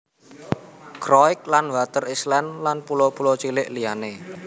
Croix lan Water Island lan pulo pulo cilik liyané